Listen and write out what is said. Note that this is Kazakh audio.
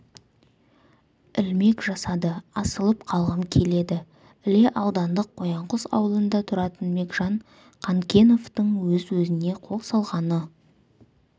ілмек жасады асылып қалғым келеді іле аудандық қоянқұс ауылында тұратын бекжан қанкеновтың өз-өзіне қол салғаны